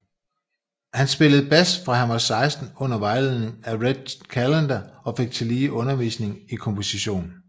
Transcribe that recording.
Han spillede bas fra han var 16 under vejledning af Red Callender og fik tillige undervisning i komposition